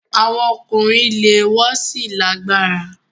Awọn ọkunrin jẹ le won si lalagbara